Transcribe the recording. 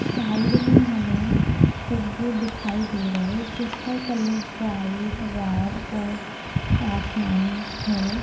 Side में हमें फूग्गे दिखाई दे रहे है जिसका कलर व्हाइट रेड और आसमानी है।